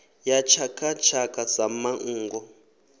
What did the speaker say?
ya tshaka tshaka sa manngo